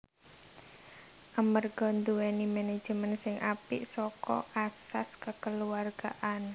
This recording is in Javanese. Amerga dhuweni menejemen sing apik saka asas kekeluargaan